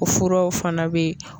O furaw fana bɛ ye.